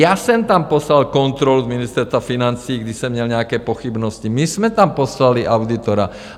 Já jsem tam poslal kontrolu z Ministerstva financí, když jsem měl nějaké pochybnosti, my jsme tam poslali auditora.